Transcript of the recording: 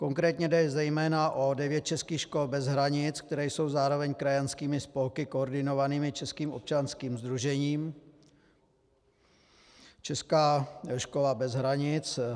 Konkrétně jde zejména o devět českých škol bez hranic, které jsou zároveň krajanskými spolky koordinovanými českým občanským sdružením Česká škola bez hranic.